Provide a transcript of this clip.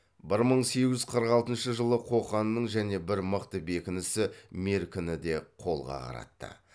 бір мың сегіз жүз қырық алтыншы жылы қоқанның және бір мықты бекінісі меркіні де қолға қаратты